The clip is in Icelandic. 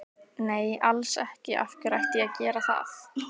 Nei alls ekki, af hverju ætti ég að gera það?